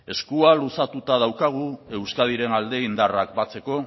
eskua luzatuta daukagu euskadiren alde indarrak batzeko